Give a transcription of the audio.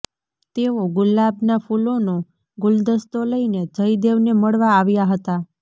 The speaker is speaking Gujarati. તેઓ ગુલાબના ફુલોનો ગુલદસ્તો લઈને જયદેવને મળવા આવ્યા હતા